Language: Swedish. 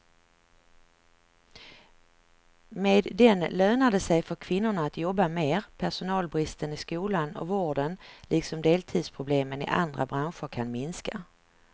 Med den lönar det sig för kvinnorna att jobba mer, personalbristen i skolan och vården liksom deltidsproblemen i andra branscher kan minska.